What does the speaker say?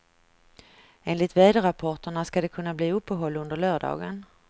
Enligt väderrapporterna ska det kunna bli uppehåll under lördagen.